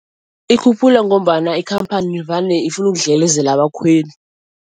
Ikhuphula ngombana ikhamphani vane ifuna ukudlelezela abakhweli.